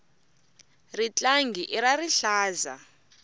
ritlangi i ra rihlaza